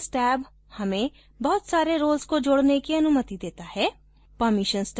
संक्षेप मेंroles टैब हमें बहुत सारे roles को जोड़ने की अनुमति देता है